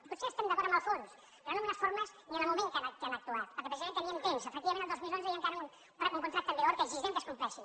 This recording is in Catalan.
potser estem d’acord amb el fons però no amb les formes ni amb el moment en què han actuat perquè precisament teníem temps efectivament el dos mil onze hi ha encara un contracte en vigor que exigirem que es compleixi